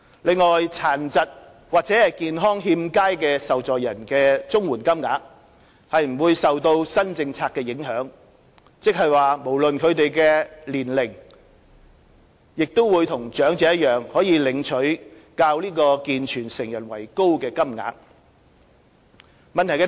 另外，殘疾或健康欠佳的受助人的綜援金額不受新政策影響，即不論他們的年齡亦與長者一樣可領取較健全成人為高的金額。